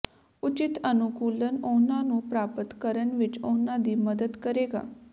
ਉਚਿਤ ਅਨੁਕੂਲਨ ਉਹਨਾਂ ਨੂੰ ਪ੍ਰਾਪਤ ਕਰਨ ਵਿੱਚ ਉਹਨਾਂ ਦੀ ਮਦਦ ਕਰੇਗਾ